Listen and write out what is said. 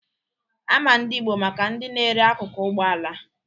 Ama ndị Igbo maka ndi na-ere akụkụ Ụgbọala.